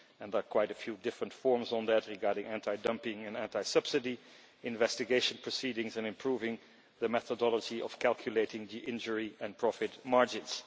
There are quite a few different forms on that regarding anti-dumping and anti subsidy investigation proceedings and improving the methodology of calculating the injury and profit margins.